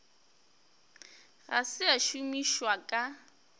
ga se a šomišwa ka